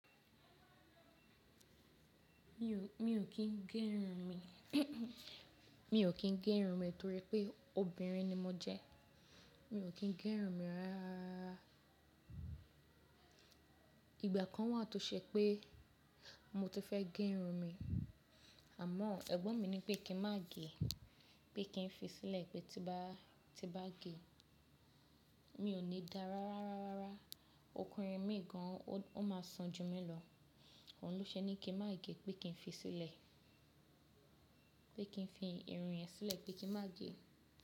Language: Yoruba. Mi ò kí n gé irun mi, mi ò kí n gé irun mi torí pé obìnrin ni mo jẹ. Mi ò kí n gé irun mi rárá. Ìgbà kan wà tó ṣe pé mo ti fẹ́ gé irun mi àmọ́ ẹ̀gbọ́n mi ní pé kí n má gé, pé kí n fi sílẹ̀ pé tí bá gé mi ò ní dára rárárára. Ọkùnrin mìíràn máa ṣan ju mí lọ. Ohun lọ́ ṣe ní kí n má gé, pé kí n fi sílẹ̀, pé kí n fi irun yẹn sílẹ̀ pé kí n má gé.